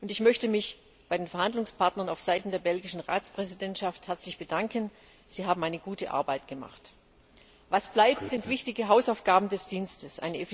Und ich möchte mich bei den Verhandlungspartnern auf Seiten der belgischen Ratspräsidentschaft herzlich bedanken. Sie haben gute Arbeit geleistet. Was bleibt, sind wichtige Hausaufgaben des Dienstes.